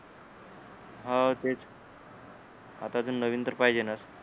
हो तेच आता अजून नवीन तर पाहिजेनाच